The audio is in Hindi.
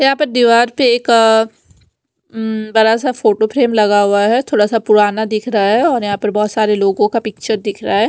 यहां पर दीवार पे एक उम्म बड़ा सा फोटो फ्रेम लगा हुआ है थोड़ा सा पुराना दिख रहा है और यहां पर बहुत सारे लोगों का पिक्चर दिख रहा है।